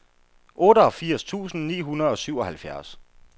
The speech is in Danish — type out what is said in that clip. otteogfirs tusind ni hundrede og syvoghalvfjerds